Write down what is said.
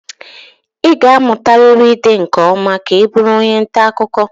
Ị ga-amụtarịrị ide nke ọma ka ị bụrụ onye nta akụkọ